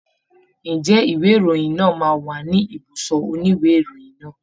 Ǹjẹ́ ìwé ìròyìn náà máa wà ní ibùsọ̀ òní ìwé ìròyìn náà?